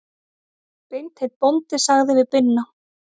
Beinteinn bóndi sagði við Binna